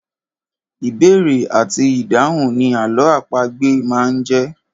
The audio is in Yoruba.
Ìbéèrè àti ìdáhùn ni àlọ́ àpagbè máa ń jẹ́.